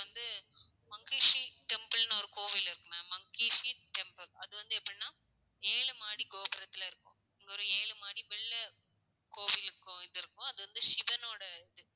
வந்து மங்கேஷி டெம்பில்னு ஒரு கோவில் இருக்கு மங்கேஷி டெம்பில் அது எப்படின்னா ஏழு மாடி கோபுரத்துல இருக்கும். ஒரு ஏழு மாடி மேல கோவிலுக்கு இது இருக்கும். அது வந்து சிவனோட இது